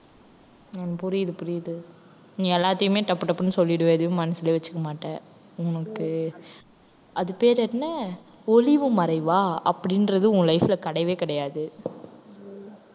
உம் புரியுது புரியுது நீ எல்லாத்தையுமே டப்பு டப்புன்னு சொல்லிடுவ எதையும் மனசுல வச்சுக்க மாட்ட உனக்கு அது பேர் என்ன? ஒளிவு மறைவா அப்படின்றது உன் life ல கிடையவே கிடையாது